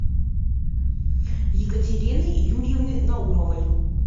екатерины юрьевны наумовой